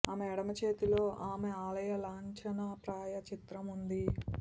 ఆమె ఎడమ చేతి లో ఆమె ఆలయ లాంఛనప్రాయ చిత్రం ఉంది